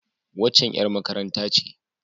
Waccan ƴar makaranta ce.